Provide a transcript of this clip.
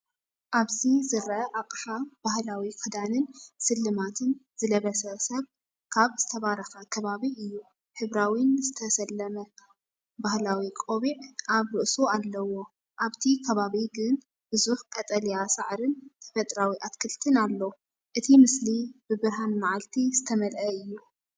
ኣብዚ ዝረአ ኣቕሓ ባህላዊ ክዳንን ስልማትን ዝለበሰ ሰብ ካብ ዝተባረኸ ከባቢ እዩ። ሕብራዊን ዝተሰለመን ባህላዊ ቆቢዕ ኣብ ርእሱ ኣለዎ። ኣብቲ ከባቢ ግን ብዙሕ ቀጠልያ ሳዕርን ተፈጥሮኣዊ ኣትክልትን ኣሎ። እቲ ምስሊ ብብርሃን መዓልቲ ዝተመልአ እዩ።